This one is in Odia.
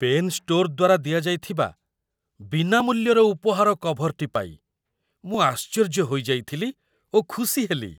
ପେନ୍ ଷ୍ଟୋର୍‌ ଦ୍ୱାରା ଦିଆଯାଇଥିବା ବିନାମୂଲ୍ୟର ଉପହାର କଭର୍‌ଟି ପାଇ ମୁଁ ଆଶ୍ଚର୍ଯ୍ୟ ହୋଇଯାଇଥିଲି ଓ ଖୁସି ହେଲି